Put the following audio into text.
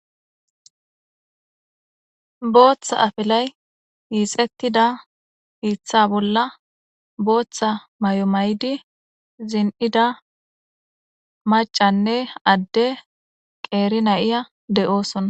Booththa afelay yiixettida hiitha bolla booththa may7o may7di zin7ida macanne adde qeeri na7iya de7oosona.